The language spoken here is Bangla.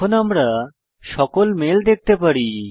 এখন আমরা সকল মেল দেখতে পারি